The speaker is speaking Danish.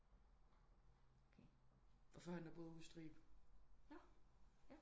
Og førhen der boede jeg ude i Strib